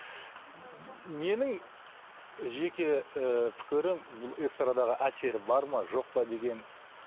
менің жеке ііі пікірім бұл эстрадаға әсері бар ма жоқпа деген